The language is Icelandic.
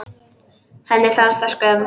Henni fannst það skömm.